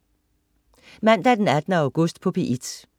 Mandag den 18. august - P1: